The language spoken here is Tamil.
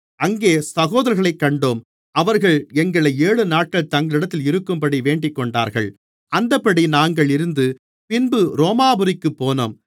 அங்கே சகோதரர்களைக் கண்டோம் அவர்கள் எங்களை ஏழுநாட்கள் தங்களிடத்தில் இருக்கும்படி வேண்டிக்கொண்டார்கள் அந்தப்படி நாங்கள் இருந்து பின்பு ரோமாபுரிக்குப் போனோம்